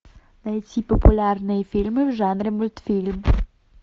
найти популярные фильмы в жанре мультфильм